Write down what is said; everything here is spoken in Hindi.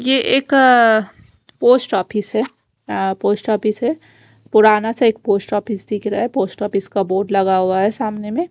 ये एक अ पोस्ट ऑफिस हे आ पोस्ट ऑफिस हे पुराना सा एक पोस्ट ऑफिस दिख रहा है पोस्ट ऑफिस का बोर्ड लगा हुआ हे सामने में--